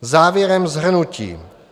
Závěrem shrnutí.